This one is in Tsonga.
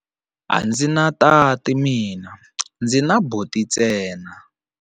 A ndzi na tati mina, ndzi na buti ntsena.